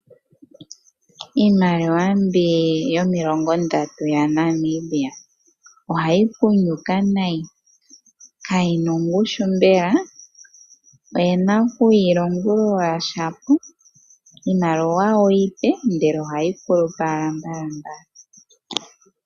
Iimaliwa mbi yomilongo ndatu yaNamibia. Ohayi kunyuka nayi kayina ongushu mbela, oye na okuyi longulula shapo. Iimaliwa iipe ndele ohayi kulupa owala mbalambala.